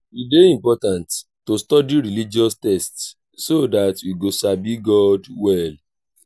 e dey important to study religious texts so that we go sabi god well.